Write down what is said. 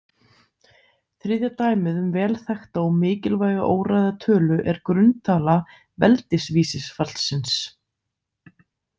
Þriðja dæmið um velþekkta og mikilvæga óræða tölu er grunntala veldisvísisfallsins.